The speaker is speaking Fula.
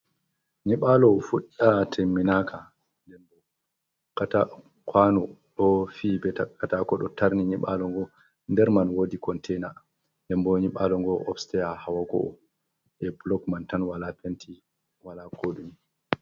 nyiɓalow fuɗɗa temminaka kata kwano do fi be takatakodo tarni nyiɓalo go derman wodi containa nden bo nyiɓalo go opsteya hawa go 'o e blokman tan wala penti wala kodumi